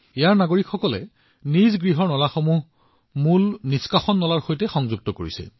ইয়াত থকা নাগৰিকসকলে নিজেই আগবাঢ়ি আহিছে আৰু তেওঁলোকৰ নলাবোৰ নৰ্দমা লাইনৰ সৈতে সংযোগ কৰিছে